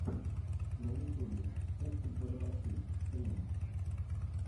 на ютьюбе ух ты бородачи стрим